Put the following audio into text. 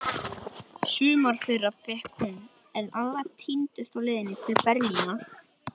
Sumar þeirra fékk hún, en aðrar týndust á leiðinni til Berlínar.